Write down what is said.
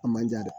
A manja dɛ